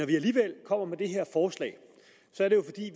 vi alligevel kommer med det her forslag